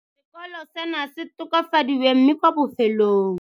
Sekolo seno se tokafadiwe mme kwa bofelong.